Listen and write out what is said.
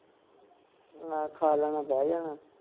ਆਹ ਖਾ ਲੈਣਾ ਬਹਿ ਜਾਣਾ